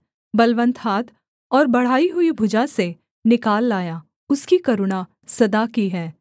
बलवन्त हाथ और बढ़ाई हुई भुजा से निकाल लाया उसकी करुणा सदा की है